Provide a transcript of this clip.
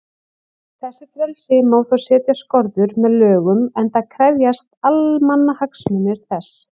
Þessu frelsi má þó setja skorður með lögum, enda krefjist almannahagsmunir þess.